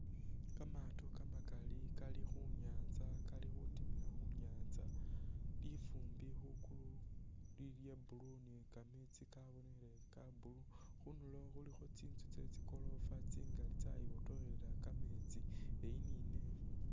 Kamaato kamakali kali khunyatsa kali khutimila khunyatsa , lifumbi khwigulu lili lya blue ni kameetsi kabonekhele ka blue , khunduro khulikho tsitsu tsetsi gorofa tsingali tsayibotokhelela kameetsi eyi nineyi.